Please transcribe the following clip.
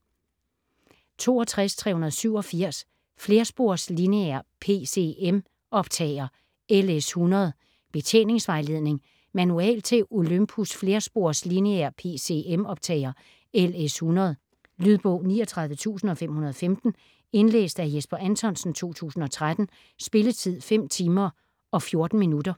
62.387 Flerspors lineær PCM optager LS-100: Betjeningsvejledning Manual til Olympus flerspors lineær PCM optager LS-100. Lydbog 39515 Indlæst af Jesper Anthonsen, 2013. Spilletid: 5 timer, 14 minutter.